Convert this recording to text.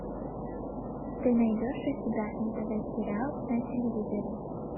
ты найдешь у себя нтв сериал на телевизоре